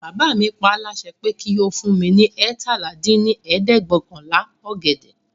Bàbá mi paá láṣẹ pé kí ó fún mi ní eétalá dín ní ẹ̀ẹ́dẹ́gbẹ́ọ̀kànlá ọ̀gẹ̀dẹ̀